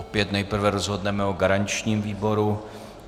Opět nejprve rozhodneme o garančním výboru.